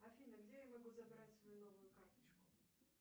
афина где я могу забрать свою новую карточку